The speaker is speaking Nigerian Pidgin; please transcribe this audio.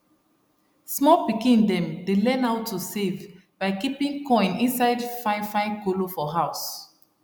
small pikin dem dey learn how to save by keeping coin inside fine fine colo for house